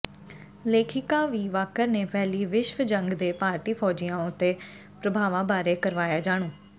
ਲੇਖਿਕਾ ਵੀ ਵਾਕਰ ਨੇ ਪਹਿਲੀ ਵਿਸ਼ਵ ਜੰਗ ਦੇ ਭਾਰਤੀ ਫੌਜੀਆਂ ਉਤੇ ਪ੍ਰਭਾਵਾਂ ਬਾਰੇ ਕਰਵਾਇਆ ਜਾਣੂ